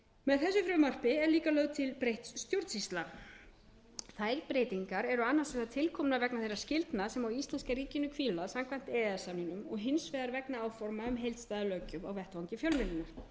með þessu frumvarpi er líka lögð til breytt stjórnsýsla þær breytingar eru annars vegar tilkomnar vegna þeirra skyldna sem á íslenska ríkinu hvíla samkvæmt e e s samningnum og hins vegar vegna áforma um heildstæða löggjöf á vettvangi fjölmiðlunar